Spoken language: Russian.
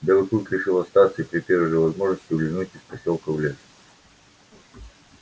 белый клык решил остаться и при первой же возможности улизнуть из посёлка в лес